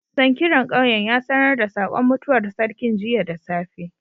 Sankiran ƙauyen ya sanar da saƙon mutuwar sarkin jiya da safe.